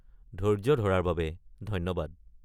ধৈৰ্য্য ধৰাৰ বাবে ধন্যবাদ।